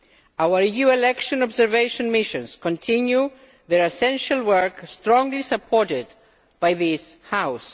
Our EU election observation missions continue their essential work, strongly supported by this House.